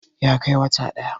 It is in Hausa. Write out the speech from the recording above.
ya Kai wata ɗaya